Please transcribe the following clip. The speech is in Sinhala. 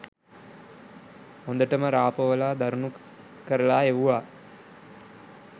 හොඳටම රා පොවලා දරුණු කරලා එව්වා.